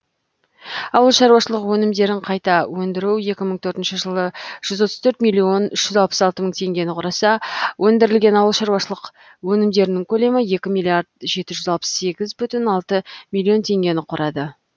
ауыл шаруашылық өнімдерін қайта өндіру екі мың төртінші жылы жүз отыз төрт миллион үш жүз алпыс алты мың тенгені құраса өндірілген ауыл шаруашылық өнімдерінің көлемі екі миллиард жеті жүз алпыс сегіз бүтін алты миллион тенгені құрады